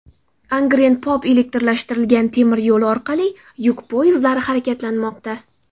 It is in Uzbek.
Angren-Pop elektrlashtirilgan temir yo‘li orqali yuk poyezdlari harakatlanmoqda .